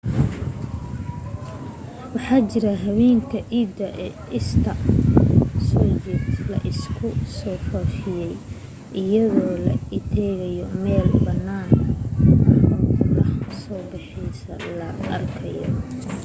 waxaa jira habeenka ciidda easter soo jeed la isku dhaafiyo iyadoo la tegayo meel bannaan oo qorrax soo baxa laga arkayo